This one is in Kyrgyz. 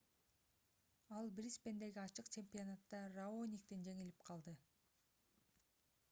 ал брисбендеги ачык чемпионатта раониктен жеңилип калды